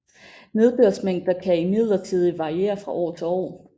Nedbørsmængder kan imidlertid variere fra år til år